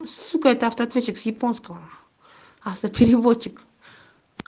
сука это автоответчик с японского авто переводчик